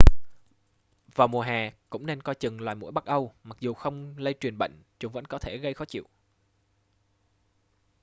vào mùa hè cũng nên coi chừng loài muỗi bắc âu mặc dù không lây truyền bệnh chúng vẫn có thể gây khó chịu